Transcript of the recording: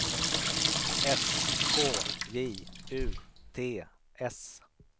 S K J U T S